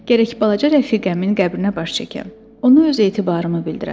Gərək balaca rəfiqəmin qəbrinə baş çəkəm, ona öz etibarımı bildirəm.